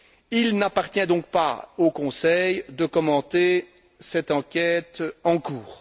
Il n'appartient donc pas au Conseil de commenter cette enquête en cours.